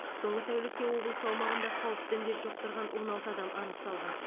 соңғы тәулікте облыс аумағында қауіпті індет жұқтырған он алты адам анықталған